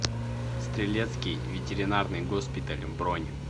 стрелецкий ветеринарный госпиталь бронь